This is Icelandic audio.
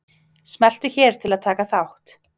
Smeltu hér til að taka þátt.